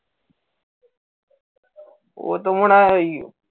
অতো মনে হয় ঐ